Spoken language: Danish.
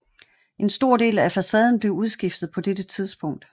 En stor del af facaden blev udskiftet på dette tidspunkt